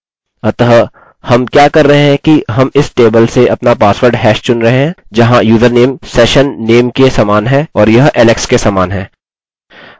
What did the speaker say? अतः हम क्या कर रहे हैं कि हम इस टेबल से अपना पासवर्ड हैश चुन रहे हैं जहाँ यूजरनेम सेशननेम के समान है और यह alex के समान है